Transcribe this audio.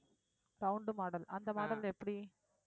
round model அந்த model எப்படி